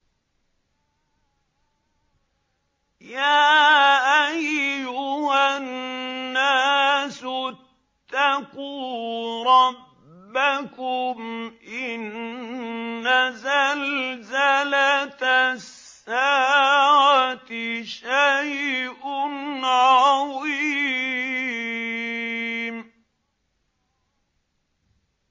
يَا أَيُّهَا النَّاسُ اتَّقُوا رَبَّكُمْ ۚ إِنَّ زَلْزَلَةَ السَّاعَةِ شَيْءٌ عَظِيمٌ